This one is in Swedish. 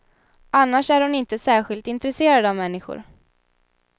Annars är hon inte särskilt intresserad av människor.